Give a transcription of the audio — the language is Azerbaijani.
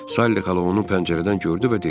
Sally xala onu pəncərədən gördü və dedi: